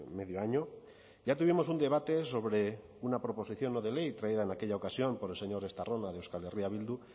medio año ya tuvimos un debate sobre una proposición no de ley traída en aquella ocasión por el señor estarrona de euskal herria bildu